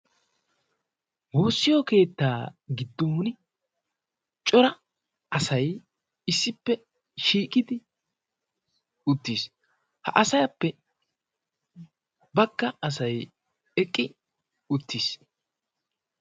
woossiyo keettaa giddon cora asay issippe shiiqidi uttiis ha asayappe bagga asay eqqi uttiis